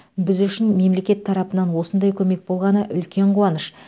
біз үшін мемлекет тарапынан осындай көмек болғаны үлкен қуаныш